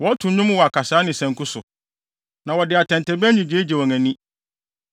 Wɔto nnwom wɔ akasae ne sanku so; na wɔde atɛntɛbɛn nnyigyei gye wɔn ani.